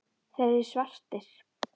Þeir eru svartir.